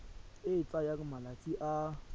e e tsayang malatsi a